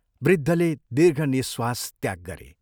वृद्धले दीर्घ निःश्वास त्याग गरे।